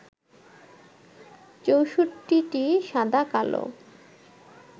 ৬৪টি সাদা-কালো